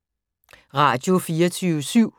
Radio24syv